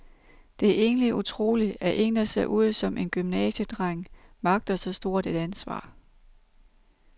Det er egentlig utroligt, at en, der ser ud som en gymnasiedreng, magter så stort et ansvar.